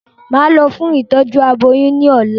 Màá lọ fún ìtọ́jú aboyún ní ọ̀la